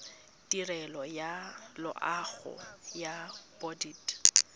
tirelo ya loago ya bodit